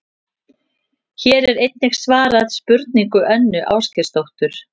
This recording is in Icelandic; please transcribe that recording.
Hér er einnig svarað spurningu Önnu Ásgeirsdóttur: